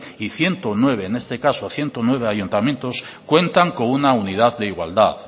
y ciento nueve en este caso ciento nueve ayuntamientos cuentan con una unidad de igualdad